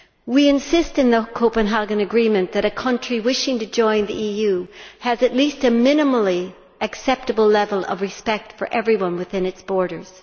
We insist in the Copenhagen Agreement that a country wishing to join the EU must have at least a minimally acceptable level of respect for everyone within its borders.